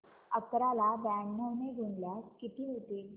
अकरा ला ब्याण्णव ने गुणल्यास किती होतील